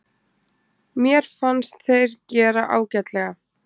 Mér fannst þeir gera ágætlega.